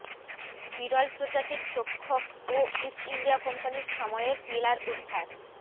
বিরল প্রজাতির তক্ষক ও ইস্ট ইন্ডিয়া কোম্পানির সময়ের পিলার উদ্ধার